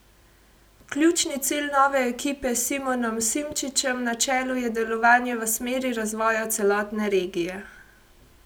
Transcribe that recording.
Ključni cilj nove ekipe s Simonom Simčičem na čelu je delovanje v smeri razvoja celotne regije.